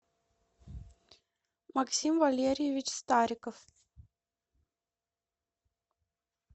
максим валерьевич стариков